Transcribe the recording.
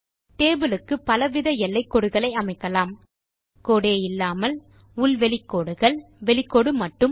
table க்கு பலவித எல்லைக்கோடுகளை அமைக்கலாம் கோடே இல்லாமல் உள் வெளி கோடுகள் வெளிக்கோடு மட்டும்